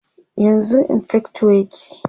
yanzun infector yake